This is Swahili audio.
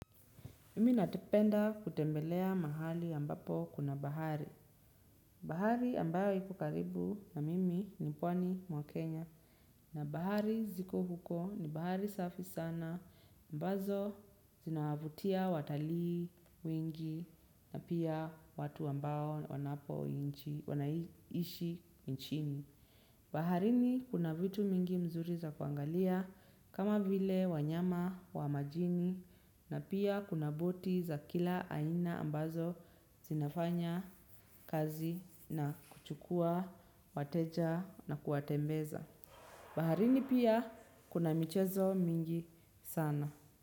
Mimi natipenda kutembelea mahali ambapo kuna bahari. Bahari ambayo iko karibu na mimi ni pwani mwa kenya na bahari ziko huko ni bahari safi sana ambazo zinawavutia watalii, wengi na pia watu ambao wanapo wanaishi inchini. Baharini kuna vitu mingi mzuri za kuangalia kama vile wanyama wa majini na pia kuna boti za kila aina ambazo zinafanya kazi na kuchukua, wateja na kuwatembeza. Baharini pia kuna michezo mingi sana.